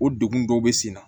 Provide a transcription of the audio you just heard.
O degun dɔw bɛ sen na